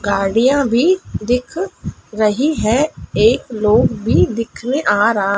गाड़ियां भी दिख रही है एक लोग भी दिख में आ रहा--